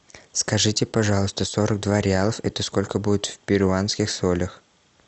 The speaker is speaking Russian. скажите пожалуйста сорок два реалов это сколько будет в перуанских солях